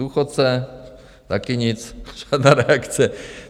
Důchodce - taky nic, žádná reakce.